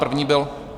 První byl...